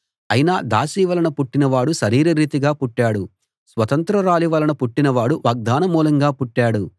అయినా దాసి వలన పుట్టినవాడు శరీర రీతిగా పుట్టాడు స్వతంత్రురాలి వలన పుట్టినవాడు వాగ్దాన మూలంగా పుట్టాడు